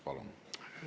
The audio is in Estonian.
Palun!